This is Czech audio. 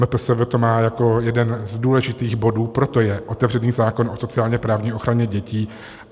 MPSV to má jako jeden z důležitých bodů, proto je otevřený zákon o sociálně-právní ochraně dětí.